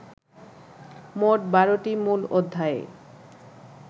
মোট ১২টি মূল অধ্যায়ে